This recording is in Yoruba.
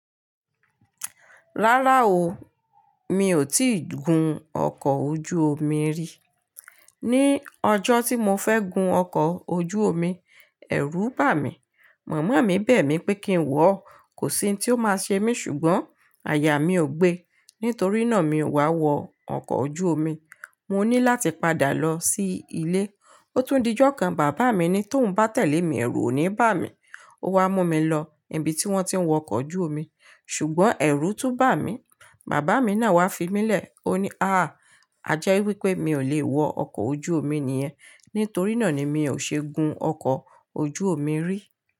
Rárá o, mi ò tí ì gun ọkọ̀ ojú omi rí. Ni ọjọ́ tí mo fẹ́ gun ọkọ̀ ojú omi, ẹ̀rù bà mí. Màmá mi bẹ̀ mí pé kí n wọ̀, kò sí ohun tí ó máa ṣe mí ṣùgbọ́n àyà mi ò gbe. Nítorí náà mi ò wá wọ ọkọ̀ ojú omi. Mo ní láti padà lọ sí ilé. Ó tún di ọjọ́ kan, bàbá mi ní tó ń bá tẹ̀lé mi, ẹ̀rù ò ní bà mí. Ó wá mú mi lọ ibi tí wọ́n ti ń wọ ọkọ̀ ojú omi ṣùgbọ́n ẹ̀rù tún bà mí. Bàbá mi náà wá fi mí lè. Ó ní, "àá, ajé wípé mi ò lè wọ ọkọ̀ ojú omi nìyẹn." Nítorí náà ni mi ò ṣe gun ọkọ̀ ojú omi rí.